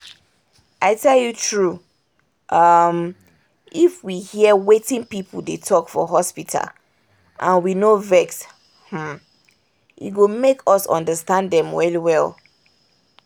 i tell you true! um if we hear wetin people dey talk for hospital and we no vex um e go make us understand dem well well